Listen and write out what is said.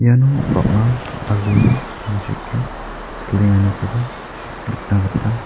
iano bang·a aluni tangseke silenganikoba nikna gita--